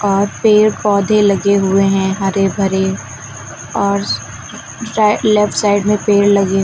और पेड़ पौधे लगे हुए हैं हरे भरे और रा लेफ्ट साइड में पेड़ लगे--